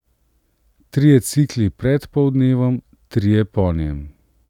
Trije cikli pred poldnevom, trije po njem.